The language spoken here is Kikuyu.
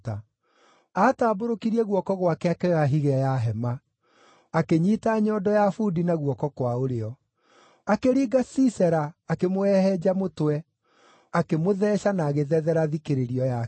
Aatambũrũkirie guoko gwake akĩoya higĩ ya hema, akĩnyiita nyondo ya bundi na guoko kwa ũrĩo. Akĩringa Sisera, akĩmũhehenja mũtwe, akĩmũtheeca na agĩthethera thikĩrĩrio yake.